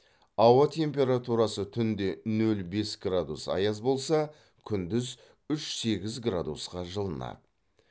ауа температурасы түнде нөл бес градус аяз болса күндіз үш сегіз градусқа жылынады